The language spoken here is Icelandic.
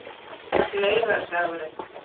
laugardagurinn